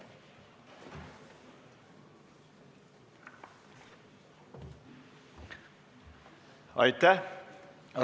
Aitäh!